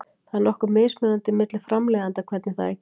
Það er nokkuð mismunandi milli framleiðenda hvernig það er gert.